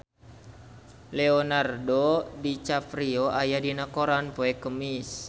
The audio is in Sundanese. Leonardo DiCaprio aya dina koran poe Kemis